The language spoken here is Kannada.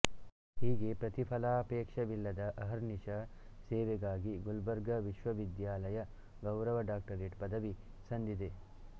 ಹೀಗೆ ಪ್ರತಿಫಲಾಪೇಕ್ಷವಿಲ್ಲದ ಅಹರ್ನಿಷ ಸೇವೆಗಾಗಿ ಗುಲ್ಬರ್ಗಾ ವಿಶ್ವವಿದ್ಯಾಲಯ ಗೌರವ ಡಾಕ್ಟರೇಟ್ ಪದವಿ ಸಂದಿದೆ